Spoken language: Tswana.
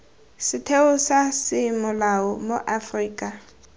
setheo sa semolao mo aforika